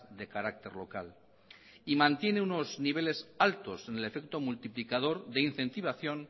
de carácter local y mantiene unos niveles altos en el efecto multiplicador de incentivación